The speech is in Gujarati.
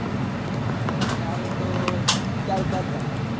મારે તો ચાર પાંચ દહાડા.